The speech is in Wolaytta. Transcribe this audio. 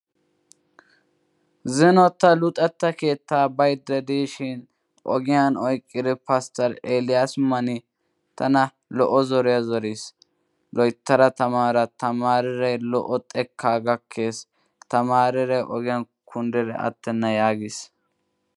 Zino ta luxxetta keettaa baydda diishshiin ogiyan oyqqidi Paster Elias Mani tana lo'o zoriya zoriis. "Loyttada tamaara tamaariray lo'o xekkaa gakkees tamaariray ogiyan kundidi attenna " yaagiis.